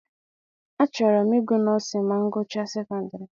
A chọrọ m I gụ nọọsịn ma m gụchaa sekondiri.